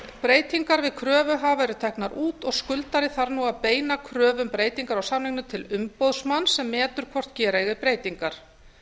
breytingar við kröfuhafa eru teknar út og skuldari þarf nú að beina kröfu um breytingar á samningnum til umboðsmanns sem metur hvort gera eigi breytingar